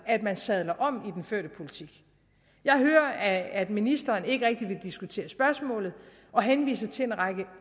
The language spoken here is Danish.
at man sadler om i den førte politik jeg hører at ministeren ikke rigtig vil diskutere spørgsmålet og henviser til en række